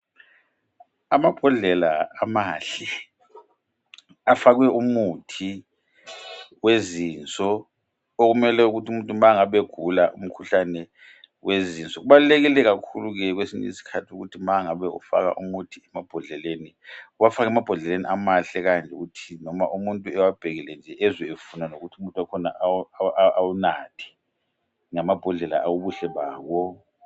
amabhodlela amahle afakwe umuthi wezinso okumele ukuthi umuntu uma engabe egula umkhuhlane wezinso kubalulekile kakhulu kwezinye izikhathi ukuthi ma ungaba ufaka umuthi emabhodleleni uwafake emabhodleleni amahle kukanti loba muntu ewabhekile ezwe efuna awunathe ngamabhodlela ubuhle bawo